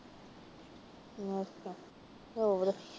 ਅੱਛਾ, ਹੋਰ